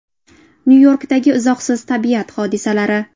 Nyu-Yorkdagi izohsiz tabiat hodisalari .